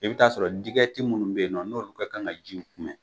I bi taa sɔrɔ digɛti minnu be yen nɔn n'olu be ye n'olu b'a la ka ji in kun bɛ